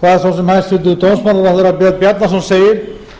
hvað sem hæstvirtur dómsmálaráðherra björn bjarnason segir